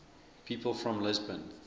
people from lisbon